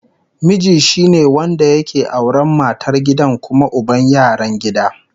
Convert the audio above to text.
Miji shine wanda yake auran matar gida kuma uban yaran gida